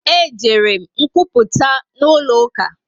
E jere m nkwuputa n'ụlọ uka